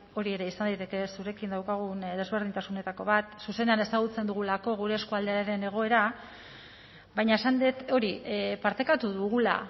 hori ere izan daiteke zurekin daukagun desberdintasunetako bat zuzenean ezagutzen dugulako gure eskualdearen egoera baina esan dut hori partekatu dugula